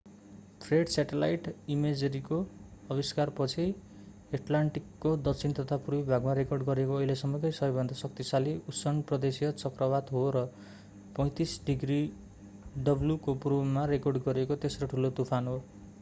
Fred satellite इमेजरीको आविष्कारपछि एटलान्टिकको दक्षिण तथा पूर्वी भागमा रेकर्ड गरिएको अहिलेसम्मकै सबैभन्दा शक्तिशाली उष्ण प्रदेशीय चक्रवात हो र 35°w को पूर्वमा रेकर्ड गरिएको तेस्रो ठुलो तुफान हो।